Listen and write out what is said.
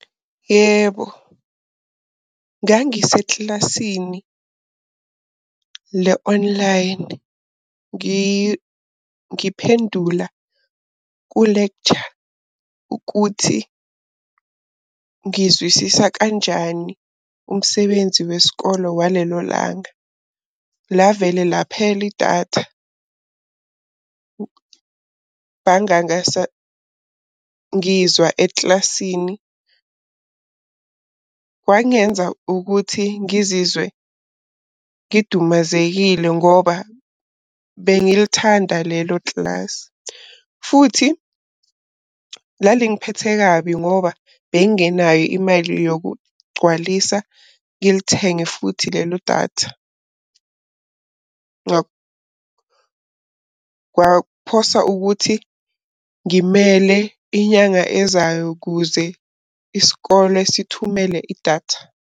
Yebo, ngangisekilasini le-online, ngiphendula ku-lecture ukuthi ngizwisisa kanjani umsebenzi wesikolo walelo langa. Lavele laphela idatha, ngangangasangizwa ekilasini. Kwangenza ukuthi ngizizwe ngidumazekile ngoba bengilithanda lelo kilasi. Futhi lalingiphethe kabi ngoba bengingenayo imali yokugcwalisa ngilithenge futhi lelo datha. Kwaphosa ukuthi ngimele inyanga ezayo ukuze isikole sithumele idatha.